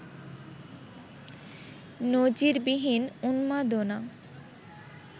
নজিরবিহীন উন্মাদনা